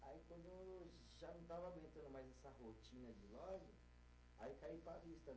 já não estava aguentando mais essa rotina de loja, aí caí para a.